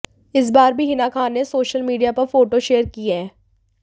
इस बार भी हिना खान ने सोशल मीडिया पर फोटो शेयर की हैं